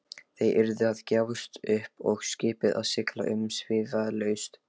Þeir yrðu að gefast upp og skipið að sigla umsvifalaust.